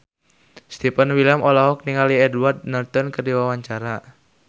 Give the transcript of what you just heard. Stefan William olohok ningali Edward Norton keur diwawancara